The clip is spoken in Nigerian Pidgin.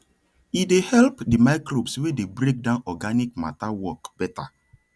e dey help di microbes wey dey break down organic matter work better